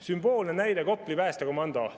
Sümboolne näide on Kopli päästekomando.